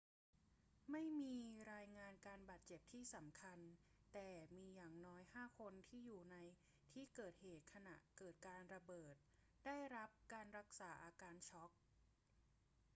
ไม่มีรายงานการบาดเจ็บที่สำคัญ แต่มีอย่างน้อยห้าคนที่อยู่ในที่เกิดเหตุขณะเกิดการระเบิดได้รับการรักษาอาการช็อก